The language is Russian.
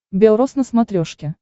бел рос на смотрешке